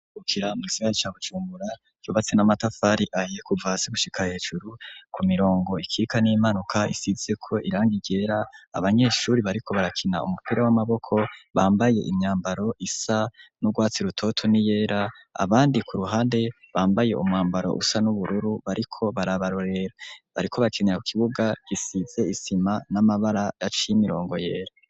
Ikibuga mu Gisagara ca Bujumura cubatse n'amatafari ahiye kuva hasi gushika hejuru, ku mirongo ikika n'impanuka isitse ko irangigera abanyeshuri bariko barakina umupira w'amaboko bambaye imyambaro isa n'urwatsi rutoto ni yera abandi ku ruhande bambaye umwambaro usa n'ubururu bariko barabarorera, bariko bakinira ku kibuga gisize isima n'amabara yacimirongo yera.